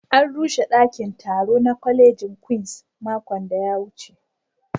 An rushe daƙin taro na ƙwalejin Queens maƙon da ya wuce